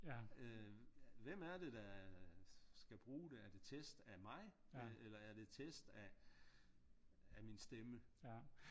Øh hvem er det der skal bruge det er det test af mig eller er det test af min stemme?